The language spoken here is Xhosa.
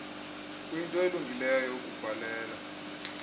kuyinto elungileyo ukubhalela